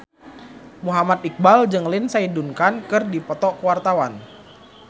Muhammad Iqbal jeung Lindsay Ducan keur dipoto ku wartawan